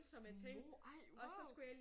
Mord! Ej wow